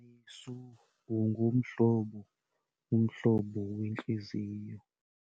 Yesu ungumhlobo, umhlobo wentliziyo.